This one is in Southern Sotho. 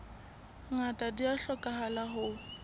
ngata di a hlokahala ho